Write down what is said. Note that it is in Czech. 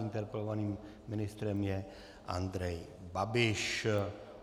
Interpelovaným ministrem je Andrej Babiš.